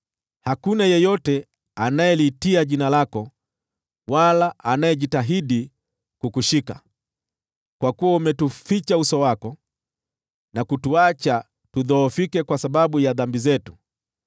Hakuna yeyote anayeliitia jina lako wala anayejitahidi kukushika, kwa kuwa umetuficha uso wako na kutuacha tudhoofike kwa sababu ya dhambi zetu.